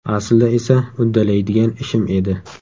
Aslida esa uddalaydigan ishim edi.